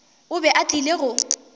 o be a tlile go